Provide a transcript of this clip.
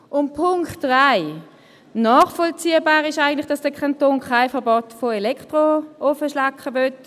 Und zum Punkt 3: Dass der Kanton kein Verbot von Elektroofenschlacke will, ist eigentlich nachvollziehbar.